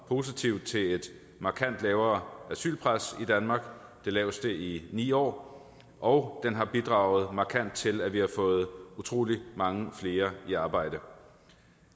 positivt til et markant lavere asylpres i danmark det laveste i ni år og den har bidraget markant til at vi har fået utrolig mange flere i arbejde for